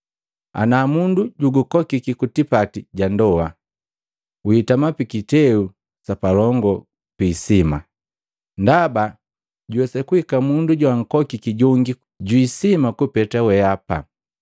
“Ana mundu junkukokiki kutipati ja ndoa, witama piiteu yapalongi piisima. Ndaba juwesa kuhika mundu joankokiki jongi jwiisima kupeta weapa,